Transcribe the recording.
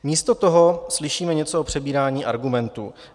Místo toho slyšíme něco o přebírání argumentů.